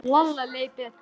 Lalla leið betur.